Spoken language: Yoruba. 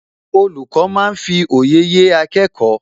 Olùkọ́ máa ń fi òye yé akẹ́kọ̀ọ́